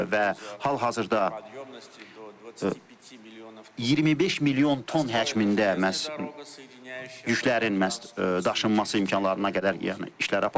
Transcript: Və hal-hazırda 25 milyon ton həcmində məhz yüklərin məhz daşınması imkanlarına qədər yəni işlər aparılır.